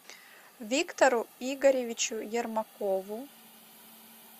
виктору игоревичу ермакову